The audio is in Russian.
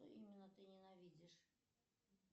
именно ты ненавидишь